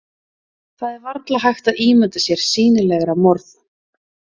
Það er varla hægt að ímynda sér sýnilegra morð.